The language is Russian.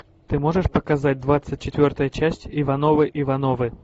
ты можешь показать двадцать четвертая часть ивановы ивановы